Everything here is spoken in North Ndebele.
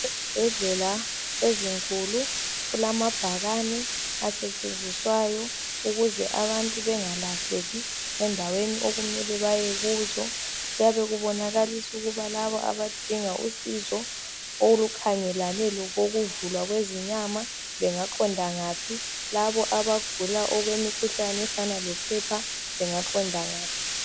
Ezibhedlela ezinkulu kulamabhakane asetshenziswayo ukuze abantu bengalahleki endaweni okumele bayo kuzo kuyabe kubonakalisa ukuba laba abadinga usizo olu khangelane lokokuuvulwa kwezinyama bengaqonda ngaphi, labo abagula okwemikhuhlane efana lo phepha bengaqonda ngaphi.